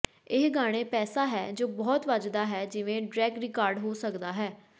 ਇਹ ਗਾਣੇ ਪੈਸਾ ਹੈ ਜੋ ਬਹੁਤ ਵੱਜਦਾ ਹੈ ਜਿਵੇਂ ਡ੍ਰੈਕ ਰਿਕਾਰਡ ਹੋ ਸਕਦਾ ਹੈ